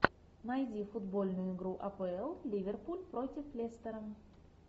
найди футбольную игру апл ливерпуль против лестера